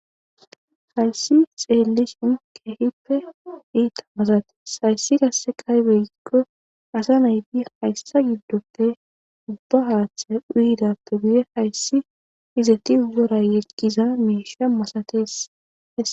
Hayssi xeellishin keehippe iita masates hayssi qasse aybe gikko asa nayti hayssa giddoppe ubba haaththay uyhidappe guye hayssi izeti wora yeggiza misha masatees.